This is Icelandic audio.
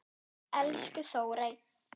Elsku Þórey.